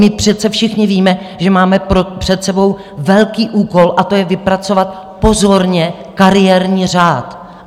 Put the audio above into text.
My přece všichni víme, že máme před sebou velký úkol, a to je vypracovat pozorně kariérní řád.